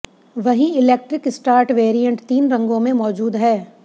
वहीं electric start variant तीन रंगों में मौजूद है